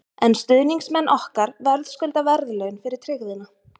En stuðningsmenn okkar verðskulda verðlaun fyrir tryggðina.